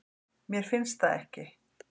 Mér finnst það ekki.